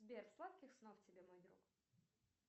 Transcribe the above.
сбер сладких снов тебе мой друг